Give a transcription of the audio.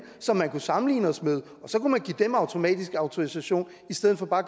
som vi kunne sammenligne os med og så kunne man give dem automatisk autorisation i stedet for bare at